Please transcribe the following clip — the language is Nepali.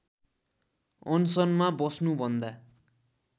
अनसनमा बस्नु भन्दा